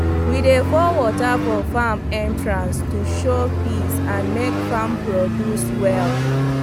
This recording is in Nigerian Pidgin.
we dey pour water for farm entrance to show peace and make farm produce well